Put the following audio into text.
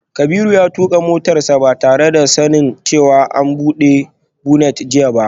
Kabiru ya tuka motarsa ​​ba tare da sanin cewa an bude bonnet jiya ba